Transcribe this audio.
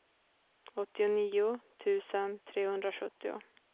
åttionio tusen trehundrasjuttio